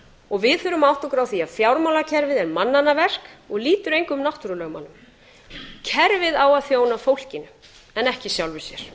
og við þurfum að átta okkur á því að fjármálakerfið er mannanna verk og lýtur engum náttúrulögmálum kerfið á að þjóna fólkinu en ekki sjálfu sér